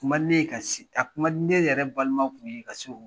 Kun man di ne ye ka se a kun man di ne yɛrɛ balimaw kun ye ka so